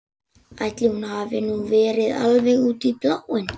Ætli hún hafi nú verið alveg út í bláinn.